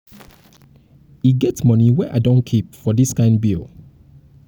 e um get um money wey i don keep for dis um kin bill